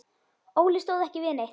Óli stóð ekki við neitt.